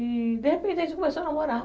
E de repente a gente começou a namorar.